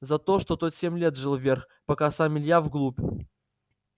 за то что тот семь лет жил вверх пока сам илья вглубь